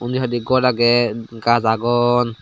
undi hoide gor agey gaj agon.